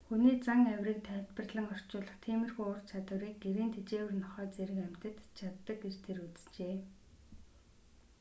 хүний зан авирыг тайлбарлан орчуулах тиймэрхүү ур чадварыг гэрийн тэжээвэр нохой зэрэг амьтад ч чаддаг гэж тэр үзжээ